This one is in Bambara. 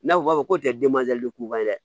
N'a fɔ b'a fɔ ko tɛ k'u ye dɛ